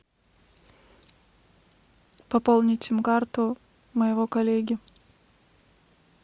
пополнить сим карту моего коллеги